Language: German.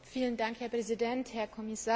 Herr Präsident, Herr Kommissar!